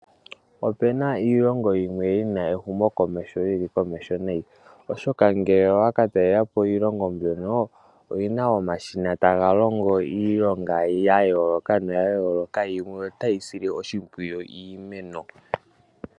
Opena iilongo yimwe yina ehumokomeho yili komeho nayi ,oshoka ngele owa katalelapo iilongo mbyono oyina omashina taga longo iilonga ya yooloka gamwe otaga sile oshimpwiyu iimeno.